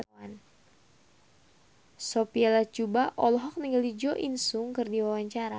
Sophia Latjuba olohok ningali Jo In Sung keur diwawancara